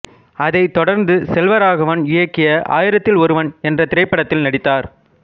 அதை தொடர்ந்து செல்வராகவன் இயக்கிய ஆயிரத்தில் ஒருவன் என்ற திரைப்படத்தில் நடித்தார்